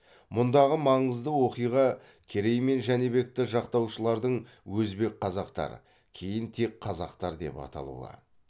мұндағы маңызды оқиға керей мен жәнібекті жақтаушылардың өзбек қазақтар кейін тек қазақтар деп аталуы